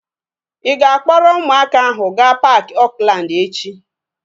Ị ga-akpọrọ ụmụaka ahu gaa paaki Oakland echi?